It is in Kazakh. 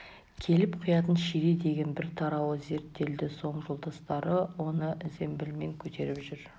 келіп құятын шире деген бір тарауы зерттелді соң жолдастары оны зембілмен көтеріп жүр